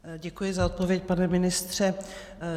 Děkuji za odpověď, pane ministře.